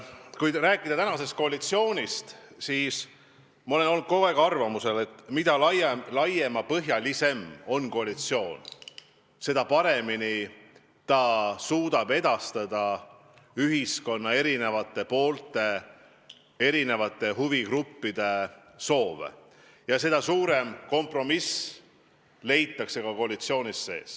Kui rääkida tänasest koalitsioonist, siis olen ma kogu aeg olnud arvamusel, et mida laiapõhjalisem on koalitsioon, seda paremini suudab ta edastada ühiskonna erinevate poolte, erinevate huvigruppide soove ja seda suurem kompromiss leitakse ka koalitsiooni sees.